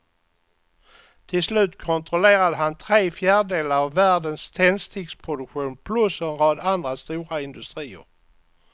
Till slut kontrollerade han tre fjärdedelar av världens tändsticksproduktion plus en rad andra stora industrier.